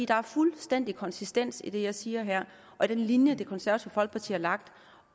der er fuldstændig konsistens i det jeg siger her og i den linje det konservative folkeparti har lagt